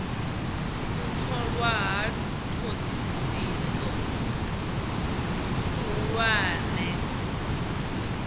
u tholwa ha thodisiso khuhulwane